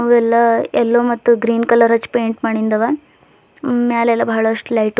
ಅವ ಎಲ್ಲಾ ಎಲ್ಲೋ ಮತ್ತು ಗ್ರೀನ್ ಕಲರ್ ಹಚ್ಚ ಪೇಂಟ್ ಮಾಡಿಂದವ ಮ್ಯಾಲ್ ಎಲ್ಲಾ ಬಹಳಸ್ಟ ಲೈಟ್ --